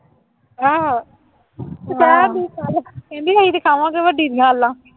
ਆਹੋ ਅਤੇ ਕਹਿਣ ਡੇਈ ਸੀ ਕੱਲ੍ਹ, ਕਹਿੰਦੀ ਅਸੀਂ ਤਾਂ ਖਾਵਾਂਗੇ ਵੱਡੀ ਦੀਆਂ